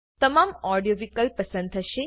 તમામ ઓડીઓ વિકલ્પ પસંદ થશે